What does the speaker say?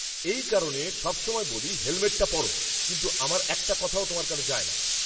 এই কারণে সবসময় বলি হেলমেটটা পরো, কিন্তু আমার একটা কথাও তোমার কানে যায় না।